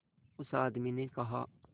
उस आदमी ने कहा